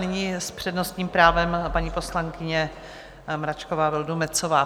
Nyní s přednostním právem paní poslankyně Mračková Vildumetzová.